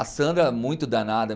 A Sandra é muito danada.